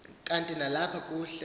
kanti nalapha kukhe